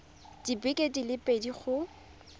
dibeke di le pedi go